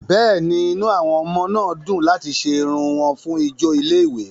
Bẹ́ẹ̀ni, inú àwọn ọmọ náà dùn láti ṣe irun wọn fún ijó ilé-ìwé.